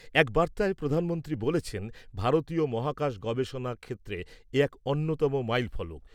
এক বার্তায় প্রধানমন্ত্রী বলেছেন, ভারতীয় মহাকাশ গবেষণা ক্ষেত্রে এ এক অন্যতম মাইল ফলক।